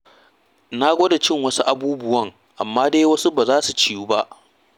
Na gwada cin wasu abubuwan amma dai wasu ba su ciyu ba.